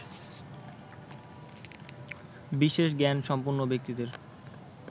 বিশেষ জ্ঞান সম্পন্ন ব্যক্তিদের